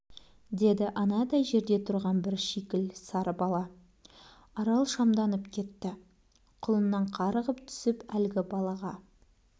деді анадай жерде тұрған бір шикіл сары бала арал шамданып кетті құлыннан қарғып түсіп әлгі балаға